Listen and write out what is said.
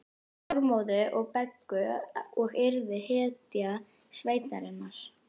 Þormóði og Beggu og yrði hetja sveitarinnar.